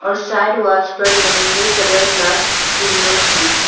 Side walls पर लंबे colour glass windows हैं।